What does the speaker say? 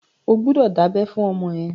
O gbọ́dọ̀ dábẹ́ fún ọmọ ẹ!